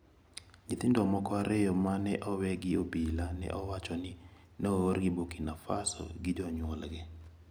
Nyithindo moko ariyo ma ne owe gi obila ne owacho ni ne oorgi Burkina Faso gi jonyuolgi.